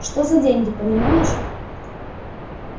что за деньги понимаешь